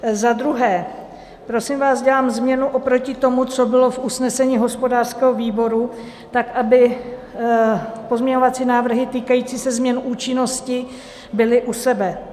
Za druhé, prosím vás, dělám změnu oproti tomu, co bylo v usnesení hospodářského výboru tak, aby pozměňovací návrhy týkající se změn účinnosti byly u sebe.